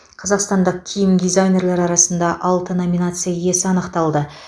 қазақстандық киім дизайнерлері арасында алты номинация иесі анықталды